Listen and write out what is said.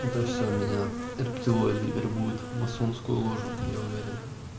это все меня рептилоиды вербуют в масонскую ложу я уверен